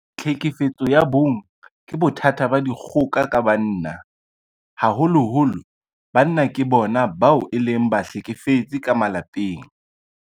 Tlhekefetso ya bong ke bothata ba dikgoka ka banna. Haholoholo banna ke bona bao e leng bahlekefetsi ka malapeng.